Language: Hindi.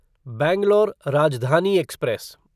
बैंगलोर राजधानी एक्सप्रेस